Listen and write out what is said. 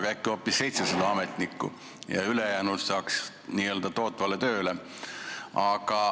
Või äkki võiks olla hoopis 700 ametnikku ja ülejäänud saaks saata n-ö tootvale tööle.